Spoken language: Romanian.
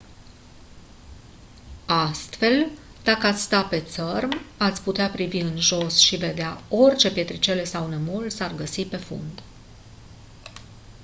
astfel dacă ați sta pe țărm ați putea privi în jos și vedea orice pietrele sau nămol s-ar găsi pe fund